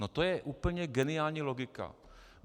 No to je úplně geniální logika.